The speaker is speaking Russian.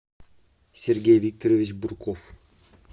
сергей викторович бурков